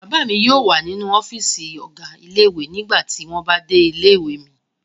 Bàbá mi yóò wà nínú ọ́fíísì ọ̀gá ilé-ìwé nígbà tí wọ́n bá dé ilé-ìwé mi.